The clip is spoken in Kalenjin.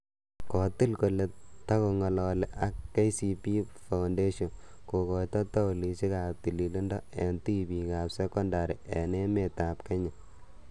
Kotel kole togong'alali ak KCB foundation kokoito tauloisiek ap tililindo eng tibiik ap sekondari eng' emet ap kenya.